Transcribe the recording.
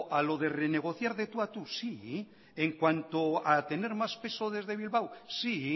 a lo de renegociar de tú a tú sí en cuanto a tener más peso desde bilbao sí